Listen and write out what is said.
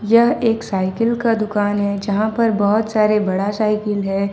यह एक साइकिल का दुकान है यहां पर बहुत सारे बड़ा साइकिल है।